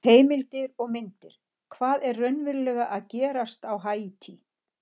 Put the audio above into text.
Heimildir og myndir: Hvað er raunverulega að gerast á Haítí?